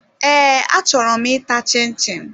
Ee achọrọ m ịta chin-chin